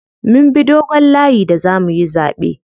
Mun bi dogon layi da zamuyi zaɓe.